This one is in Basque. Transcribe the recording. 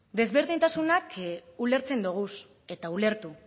desberdintasun ulertzen ditugu eta ulertu